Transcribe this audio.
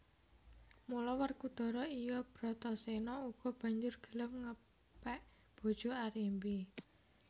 Mula Werkudara iya Brataséna uga banjur gelem ngepèk bojo Arimbi